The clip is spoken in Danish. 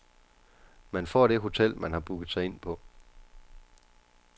Man får det hotel man har booket sig ind på.